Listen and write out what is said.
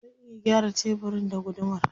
Zan iya gyara tebirin da gudumar.